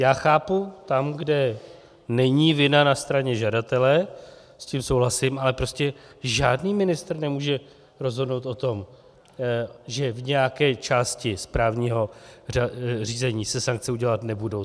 Já chápu, tam, kde není vina na straně žadatele, s tím souhlasím, ale prostě žádný ministr nemůže rozhodnout o tom, že v nějaké části správního řízení se sankce udělovat nebudou.